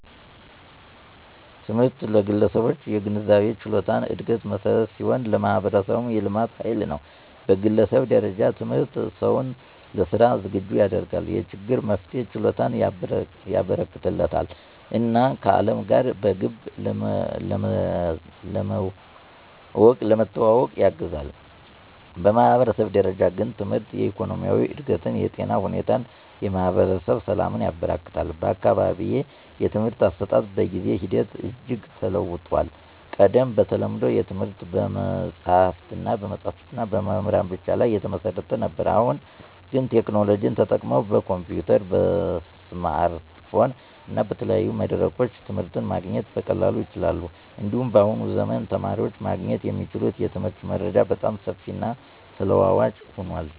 ትምህርት ለግለሰቦች የግንዛቤና የችሎታ እድገት መሠረት ሲሆን፣ ለማህበረሰቡም የልማት ኃይል ነው። በግለሰብ ደረጃ ትምህርት ሰውን ለሥራ ዝግጁ ያደርጋል፣ የችግር መፍትሄ ችሎታን ያበረከትለታል እና ከዓለም ጋር በግብ ለመዋወቅ ያግዛል። በማህበረሰብ ደረጃ ግን ትምህርት የኢኮኖሚ እድገትን፣ የጤና ሁኔታን እና የማህበረሰብ ሰላምን ያበረክታል። በአካባቢዬ የትምህርት አሰጣጥ በጊዜ ሂደት እጅግ ተለውጦአል። ቀድሞ በተለምዶ ትምህርት በመጽሀፍትና በመምህራን ብቻ ላይ የተመሰረተ ነበር። አሁን ግን ቴክኖሎጂ ተጠቅመው በኮምፒዩተር፣ በስማርትፎን እና በተለያዩ መድረኮች ትምህርት ማግኘት በቀላሉ ይቻላል። እንዲሁም በአሁኑ ዘመን የተማሪዎች ማግኘት የሚችሉት የትምህርት መረጃ በጣም ሰፊና ተለዋዋጭ ሆኗል።